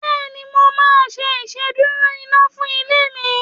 Bẹ́ẹ̀ni, mo máa ṣe ìsedúró iná fún ilé mi